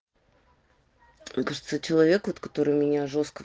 сколько стоит человек вот который у меня жёстко